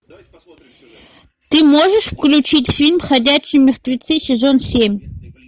ты можешь включить фильм ходячие мертвецы сезон семь